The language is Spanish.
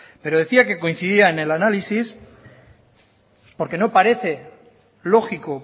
pero decía que coincidía en el análisis porque no parece lógico